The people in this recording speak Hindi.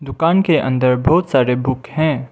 कान के अंदर बहुत सारे बुक हैं।